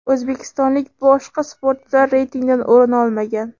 O‘zbekistonlik boshqa sportchilar reytingdan o‘rin olmagan.